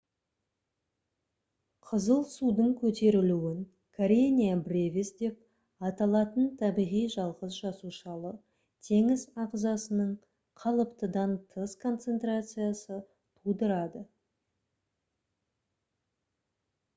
қызыл судың көтерілуін karenia brevis деп аталатын табиғи жалғыз жасушалы теңіз ағзасының қалыптыдан тыс концентрациясы тудырады